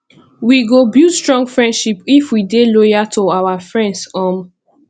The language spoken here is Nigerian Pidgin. we go build strong friendship if we dey loyal to our friends um